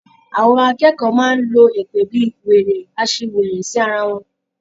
Àwọn akẹ́kọ̀ọ́ máa ń lo èpè bíi, wèrè, aṣiwèrè sí ara wọn.